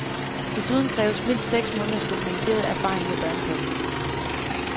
Desuden kræves mindst seks måneders dokumenteret erfaring med børnepasning.